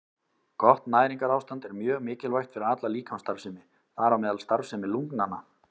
Gott næringarástand er mjög mikilvægt fyrir alla líkamsstarfsemi, þar á meðal starfsemi lungnanna.